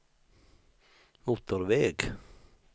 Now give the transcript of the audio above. motorväg